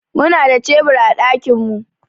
Muna da cebur a gidanmu.